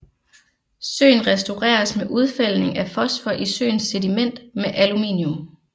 Søen restaureres med udfældning af fosfor i søens sediment med aluminium